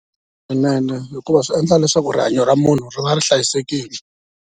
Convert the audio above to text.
hikuva swi endla leswaku rihanyo ra munhu ri va ri hlayisekile.